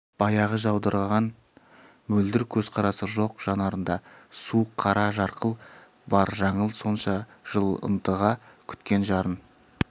баяғы жаудыраған мөлдір көзқарасы жоқ жанарында суық қара жарқыл бар жаңыл сонша жыл ынтыға күткен жарын